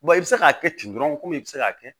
i bɛ se k'a kɛ ten dɔrɔn komi i bɛ se k'a kɛ